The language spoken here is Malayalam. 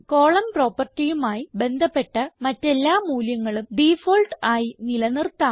കോളം propertyമായി ബന്ധപ്പെട്ട മറ്റെല്ലാ മൂല്യങ്ങളും ഡിഫാൾട്ട് ആയി നില നിർത്താം